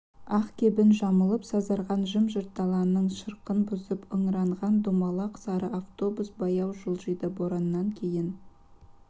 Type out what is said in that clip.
ақ кебін жамылып сазарған жым-жырт даланың шырқын бұзып ыңыранған домалақ сары автобус баяу жылжиды бораннан кейін